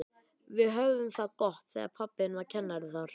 Við höfðum það gott þegar pabbi þinn var kennari þar.